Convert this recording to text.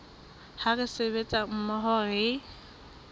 ha re sebetsa mmoho re